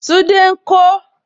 Tunde ń kọ isẹ gbẹ́nàgbẹ́nà.